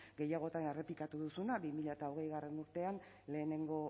gehiagotan errepikatu duzuna bi mila hogeigarrena urtean lehenengo